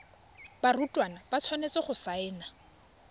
barutwana ba tshwanetse go saena